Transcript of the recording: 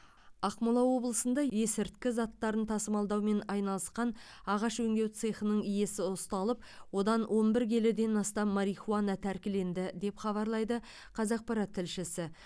ақмола облысында есірткі заттарын тасымалдаумен айналысқан ағаш өңдеу цехының иесі ұсталып одан он бір келіден астам марихуана тәркіленді деп хабарлайды қазақпарат тілшісі